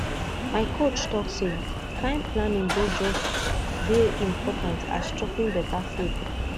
my coach talk say time planning dey just dey important as choping better food